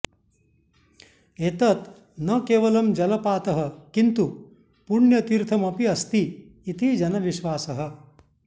एतत् न केवलं जलपातः किन्तु पुण्य़तीर्थमपि अस्ति इति जनविश्वासः